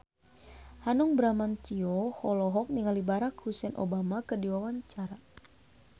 Hanung Bramantyo olohok ningali Barack Hussein Obama keur diwawancara